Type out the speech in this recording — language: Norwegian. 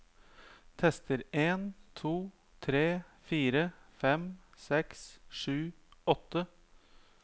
Tester en to tre fire fem seks sju åtte